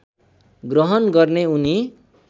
ग्रहण गर्ने उनी